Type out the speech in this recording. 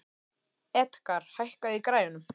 Edgar, hækkaðu í græjunum.